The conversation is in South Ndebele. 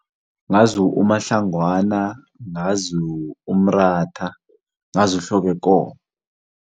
Ngazi uMahlangwana, ngazi uMratha, ngazi uHlokwekomo.